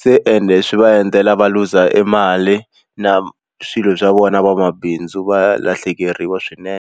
se ene swi va endlela va looser e mali na swilo swa vona vamabindzu va lahlekeriwa swinene.